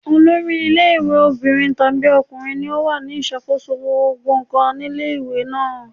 Olori ilé ìwé obìnrin tàbí ọkùnrin ni ó wà ní ìṣàkóso gbogbo ǹkan nílé ìwé náà.